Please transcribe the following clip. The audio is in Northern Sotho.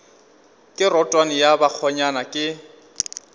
ke rotwane ya bakgonyana ke